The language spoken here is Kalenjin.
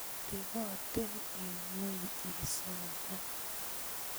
Teboten eng ngweny isoman